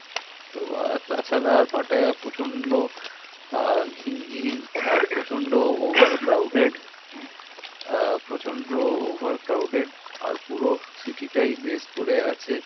তো আর তাছাড়া আর পাটায়া প্রচন্ড আহ ঘিঞ্জি আর প্রচন্ড over crowded আহ প্রচন্ড over crowded পুরো city টাই করে আছে।